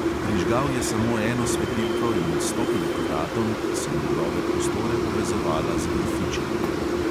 Prižgal je samo eno svetilko in stopil k vratom, ki so njegove prostore povezovala z grofičinimi.